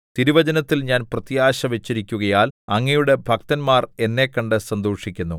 തിരുവചനത്തിൽ ഞാൻ പ്രത്യാശ വച്ചിരിക്കുകയാൽ അങ്ങയുടെ ഭക്തന്മാർ എന്നെ കണ്ട് സന്തോഷിക്കുന്നു